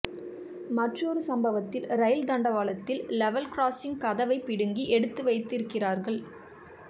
மற்றொரு சம்பவத்தில் ரயில் தண்டவாளத்தில் லெவல் கிராஸிங் கதவை பிடுங்கி எடுத்து வைத்திருக்கிறார்கள்